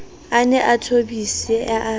a ne a thobise ba